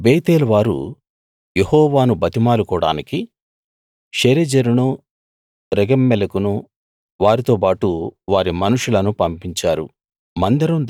బేతేలువారు యెహోవాను బతిమాలుకోడానికి షెరెజెరును రెగెమ్మెలెకును వారితో బాటు వారి మనుషులను పంపించారు